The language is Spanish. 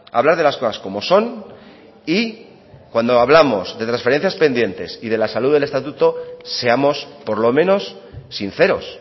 hablar de las cosas como son y cuando hablamos de transferencias pendientes y de la salud del estatuto seamos por lo menos sinceros